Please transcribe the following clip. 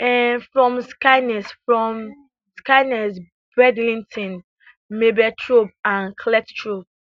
um from skegness from skegness bridlington mablethorpe and cleethorpes